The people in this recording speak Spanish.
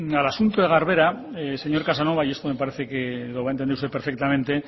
al asunto de garbera señor casanova y esto me parece que lo va a entender usted perfectamente